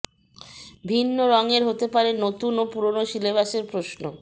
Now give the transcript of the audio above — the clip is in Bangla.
ভিন্ন রঙে হতে পারে নতুন ও পুরনো সিলেবাসের প্রশ্ন